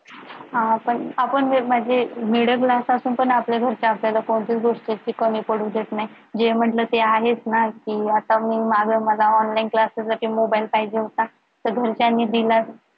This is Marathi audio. हा पण आपण जर माझे middle class असं तर ना आपल्या घरचे कोणतीच गोष्ट आपल्याला कमी पडू देत नाही जे म्हंटल ते आहेच ना ते आता मी मागे मला online class साठी mobile पाहिजे होता तर घरच्यांनी दिला